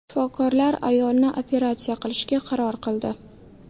Shifokorlar ayolni operatsiya qilishga qaror qildi.